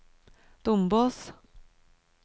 Dombås